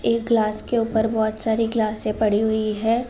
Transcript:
एक गिलास के ऊपर बहौत सारी गिलासें पडी हुई हैं।